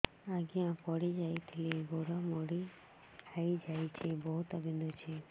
ଆଜ୍ଞା ପଡିଯାଇଥିଲି ଗୋଡ଼ ମୋଡ଼ି ହାଇଯାଇଛି ବହୁତ ବିନ୍ଧୁଛି